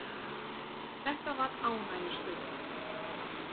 Þetta var ánægjustund.